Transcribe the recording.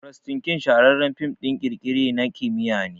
Frankistin shahararren film ɗin kirkire na kimiyya ne